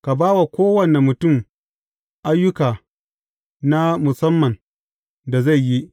Ka ba wa kowane mutum ayyuka na musamman da zai yi.